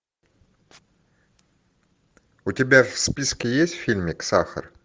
у тебя в списке есть фильмик сахар